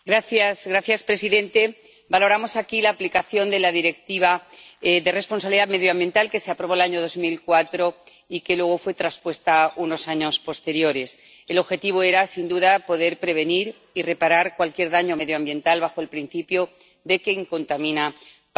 Señor presidente, valoramos aquí la aplicación de la Directiva de responsabilidad medioambiental que se aprobó el año 2004 y que luego fue transpuesta unos años después. El objetivo era, sin duda, poder prevenir y reparar cualquier daño medioambiental bajo el principio de que quien contamina paga.